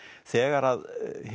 þegar